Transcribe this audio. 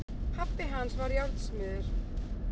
Pabbi hans var járnsmiður.